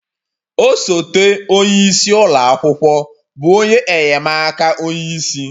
Osote onye isi ụlọ akwụkwọ bụ onye enye'm aka onye isi